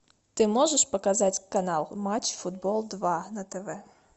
ты можешь показать канал матч футбол два на тв